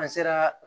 An sera